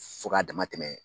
Fo k'a dama tɛmɛ